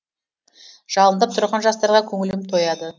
жалындап тұрған жастарға көңілім тойады